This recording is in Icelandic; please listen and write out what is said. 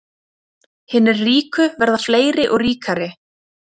Hinir ríku verða fleiri og ríkari